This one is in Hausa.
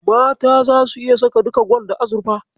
Mata zasu iya saka duka gwal da azurfa.